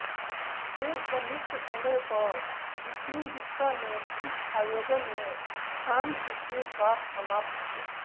के संयुक्त समय पर विस्निविस्का ने इस आयोजन में कांस्य के साथ समाप्त किया